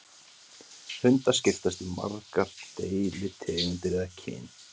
Hundar skiptast í margar deilitegundir eða kyn.